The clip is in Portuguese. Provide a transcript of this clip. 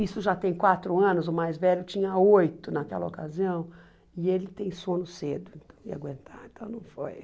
Isso já tem quatro anos, o mais velho tinha oito naquela ocasião, e ele tem sono cedo, então não ia aguentar, então não foi.